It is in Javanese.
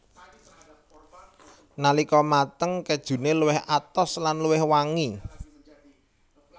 Nalika mateng kejune luwih atos lan luwih wangi